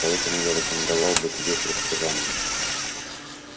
поэтому я рекомендовал бы тебе предсказания